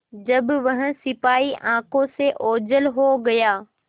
जब वह सिपाही आँखों से ओझल हो गया